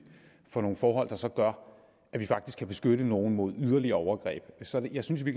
for nogle forhold der så gør at vi faktisk kan beskytte nogle mod yderligere overgreb så jeg synes i